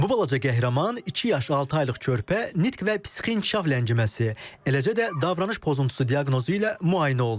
Bu balaca qəhrəman iki yaş altı aylıq körpə nitq və psixi inkişaf ləngiməsi, eləcə də davranış pozuntusu diaqnozu ilə müayinə olunur.